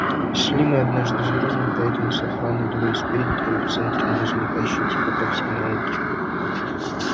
шли мы однажды с грузом и поэтому с охраной двое спереди трое в центре ну и замыкающий типа по всей науке